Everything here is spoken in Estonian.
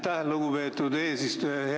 Aitäh, lugupeetud eesistuja!